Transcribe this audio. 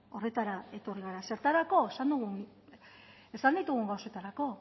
horretara etorri gara zertarako esan ditugun gauzetarako